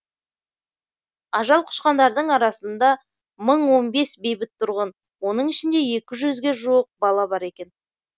ажал құшқандардың арасында мың он бес бейбіт тұрғын оның ішінде екі жүзге жуық бала бар екен